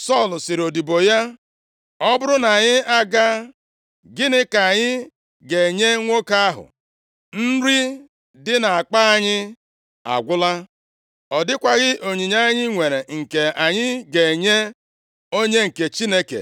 Sọl sịrị odibo ya, “Ọ bụrụ na anyị agaa, gịnị ka anyị ga-enye nwoke ahụ? Nri dị na-akpa anyị agwụla, ọ dịkwaghị onyinye anyị nwere nke anyị ga-enye onye nke Chineke.